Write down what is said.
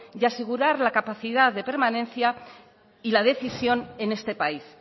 y asegurar la capacidad de permanencia y la decisión en este país